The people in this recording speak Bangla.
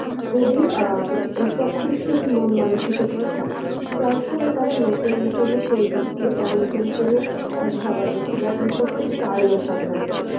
খুবই অ্যাঁ সক্ষমশীল মন মানসিকতার হয়. যার ফলে তারা নতুন কোন প্রযুক্তি বা নতুন কোন ধারা না গ্রহণ করতে চায় না সাধারণত.